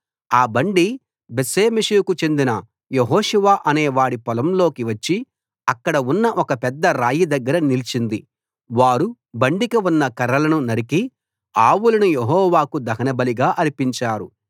ఆ బండి బేత్షెమెషుకు చెందిన యెహోషువ అనే వాడి పొలంలోకి వచ్చి అక్కడ ఉన్న ఒక పెద్ద రాయి దగ్గర నిలిచింది వారు బండికి ఉన్న కర్రలను నరికి ఆవులను యెహోవాకు దహనబలిగా అర్పించారు